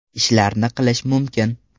ishlarni qilish mumkin.